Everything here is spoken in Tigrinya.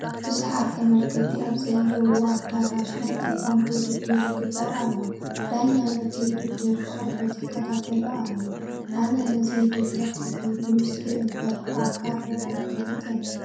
ብዙሓት ተመልከትቲ ኣብ ዘለዉዎ ኣዳራሽ ናይ ቴጓንዶ ውድድር ይግበር ኣሎ፡፡ ዳኛ ነቲ ውድድር ብቕርበት ይከታተሎ ኣሎ፡፡ ኣነ ነዚ ውድድር ሕዚ ብምስሊ እምበር ብኣካል ሪአ ኣይፈልጥን፡፡